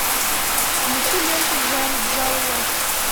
включи ленту в жанре джалло